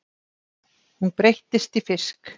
Hún breytist í fisk.